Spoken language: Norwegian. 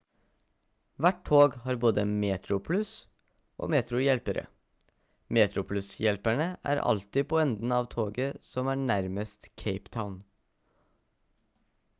hvert tog har både metroplus- og metro-hjelpere metroplus-hjelperne er alltid på enden av toget som er nærmest cape town